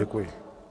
Děkuji.